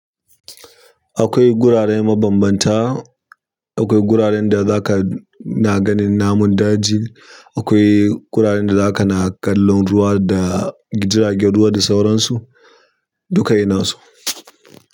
Akwai gurare mabambanta, akwai guraren da za ka na ganin namun daji, akwai guraren da za ka na kallon ruwa da jiragen ruwa da sauransu. Duka ina su.